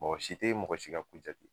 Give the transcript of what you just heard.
Mɔgɔ si te mɔgɔ si ka ko jate.